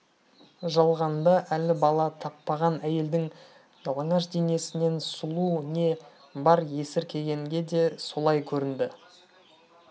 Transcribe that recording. жалғанда әлі бала таппаған әйелдің жалаңаш денесінен сұлу не бар есіркегенге де солай көрінді